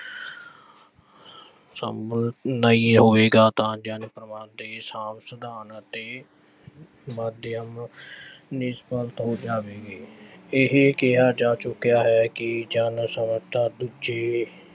ਸੰਭਵ ਨਹੀਂ ਹੋਵੇਗਾ ਤਾਂ ਜਨ ਸੰਪਰਕ ਦੇ ਸਾਂਭ-ਸਿਧਾਨ ਅਤੇ ਮਾਧਿਅਮ ਹੋ ਜਾਵੇਗੀ ਇਹੇ ਕਿਹਾ ਜਾ ਚੁੱਕਿਆ ਹੈ ਕਿ ਜਨ ਸੰਪਰਕ ਦੂਜੇ